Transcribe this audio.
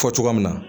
Fɔ cogoya min na